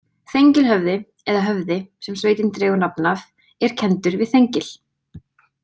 Þengilhöfði eða Höfði, sem sveitin dregur nafn af, er kenndur við Þengil.